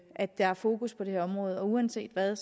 at der er fokus på det her område uanset hvad